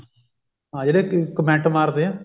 ਹਾਂ ਇਹ ਜਿਹੜੇ comment ਮਾਰਦੇ ਆ